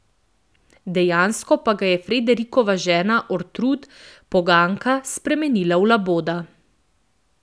Dejansko pa ga je Friderikova žena Ortrud, poganka, spremenila v laboda.